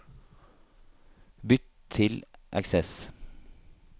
Bytt til Access